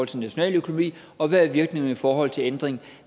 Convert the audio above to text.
til nationaløkonomi og hvad virkningerne er i forhold til ændringen